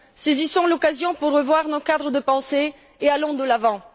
Saisissons l'occasion pour revoir nos cadres de pensée et allons de l'avant.